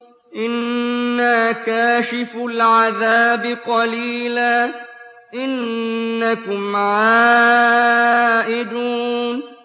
إِنَّا كَاشِفُو الْعَذَابِ قَلِيلًا ۚ إِنَّكُمْ عَائِدُونَ